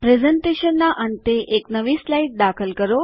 પ્રસ્તુતિકરણના અંતે એક નવી સ્લાઇડ દાખલ કરો